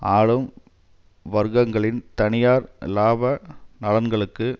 ஆளும் வர்க்கங்களின் தனியார் இலாப நலன்களுக்கு